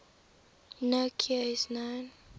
no cure is known